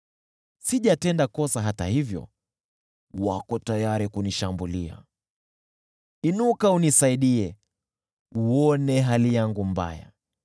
Sijatenda kosa; hata hivyo wako tayari kunishambulia. Inuka unisaidie, uone hali yangu mbaya!